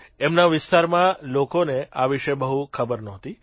એમના વિસ્તારમાં લોકોને આ વિષે બહુ ખબર નહોતી